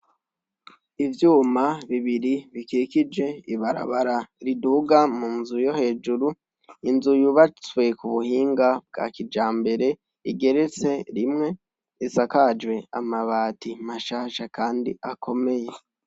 Ivyuma bibiri bikikije ibarabara riduha mu nzu yo hejuru. Inzu yubatswe ku buhinga bwa kijambere, igeretse rimwe , isakajwe amabati mashasha kandi akomeye.